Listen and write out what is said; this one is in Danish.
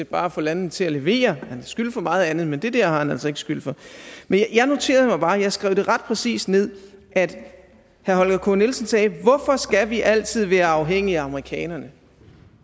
bare at få landene til at levere han skylden for meget andet men det der har han altså ikke skylden for jeg noterede mig bare og jeg skrev det ret præcist ned at herre holger k nielsen sagde hvorfor skal vi altid være afhængige af amerikanerne